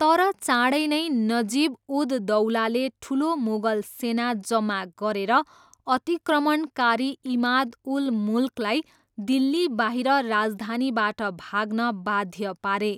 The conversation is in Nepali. तर चाँडै नै, नजिब उद दौलाले ठुलो मुगल सेना जम्मा गरेर अतिक्रमणकारी इमाद उल मुल्कलाई दिल्लीबाहिर राजधानीबाट भाग्न बाध्य पारे।